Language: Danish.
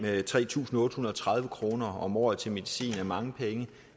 tre tusind otte hundrede og tredive kroner om året til medicin er mange penge